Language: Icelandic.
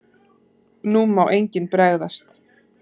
NÚ MÁ ENGINN BREGÐAST!